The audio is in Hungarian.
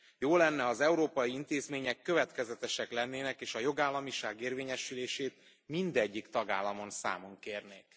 Jó lenne, ha az európai intézmények következetesek lennének, és a jogállamiság érvényesülését mindegyik tagállamon számon kérnék.